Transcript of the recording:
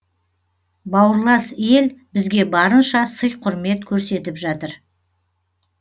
бауырлас ел бізге барынша сый құрмет көрсетіп жатыр